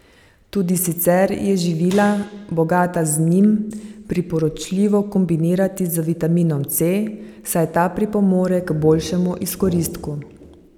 Tudi sicer je živila, bogata z njim, priporočljivo kombinirati z vitaminom C, saj ta pripomore k boljšemu izkoristku.